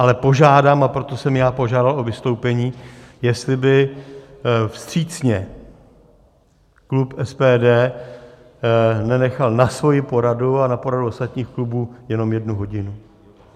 Ale požádám, a proto jsem i požádal o vystoupení, jestli by vstřícně klub SPD nenechal na svoji poradu a na poradu ostatních klubů jenom jednu hodinu.